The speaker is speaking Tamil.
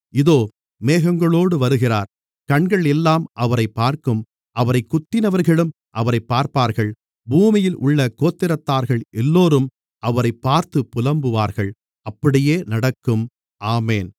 இதோ மேகங்களோடு வருகிறார் கண்கள் எல்லாம் அவரைப் பார்க்கும் அவரைக் குத்தினவர்களும் அவரைப் பார்ப்பார்கள் பூமியில் உள்ள கோத்திரத்தார்கள் எல்லோரும் அவரைப் பார்த்துப் புலம்புவார்கள் அப்படியே நடக்கும் ஆமென்